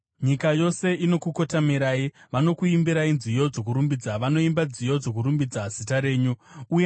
Nyika yose inokukotamirai; vanokuimbirai nziyo dzokurumbidza, vanoimba nziyo dzokurumbidza zita renyu.” Sera